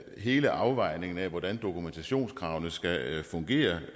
hele afvejningen af hvordan dokumentationskravene skal fungere